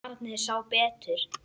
Barnið sá betur.